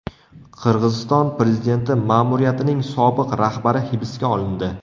Qirg‘iziston prezidenti ma’muriyatining sobiq rahbari hibsga olindi.